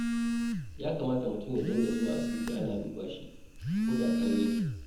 Ya kamata mutum ya dinga zuwa asibiti ana duba shi koda ƙalau ya ke.